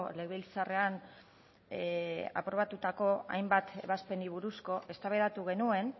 legebiltzarrean aprobatutako hainbat ebazpenei buruz eztabaidatu genuen